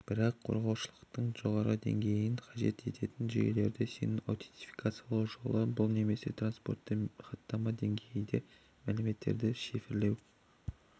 бірақ қорғаушылықтың жоғарғы деңгейін қажет ететін жүйелерде сенімді аутентификациялау жолы бұл немесе транспортты хаттама деңгейінде мәліметтерді шифрлеу